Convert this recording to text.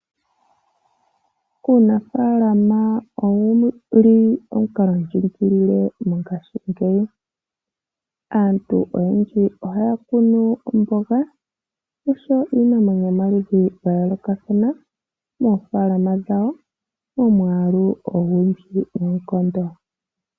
Uunafalaama owuli omukala ndjikilie mongashingeyi, aantu oyendji oha ya kunu omboga oshowo iimeno yomaludhi gayoolokathana mofaalama momwaalu ogundji noonkondo.